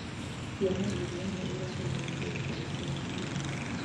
ciana iria nĩ iragũrĩirwo nguo njerũ cia cukuru.